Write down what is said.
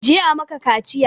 Je a maka kaciya!